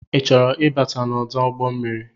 I chọrọ ịbata ọdụ ụgbọmmiri?